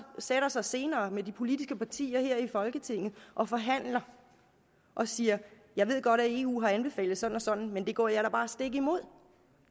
sætter sig senere med de politiske partier her i folketinget og forhandler og siger jeg ved godt at eu har anbefalet sådan og sådan men det går jeg da bare stik imod